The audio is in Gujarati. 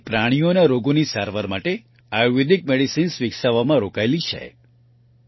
તે પ્રાણીઓના રોગોની સારવાર માટે આયુર્વેદિક મેડિસિન્સ વિકસાવવામાં રોકાયેલ છે